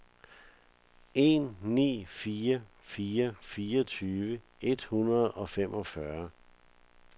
en ni fire fire fireogtyve et hundrede og femogfyrre